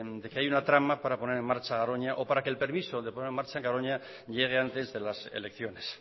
de que hay una trama para poner en marcha garoña o para que el permiso de poner en marcha garoña llegue antes de las elecciones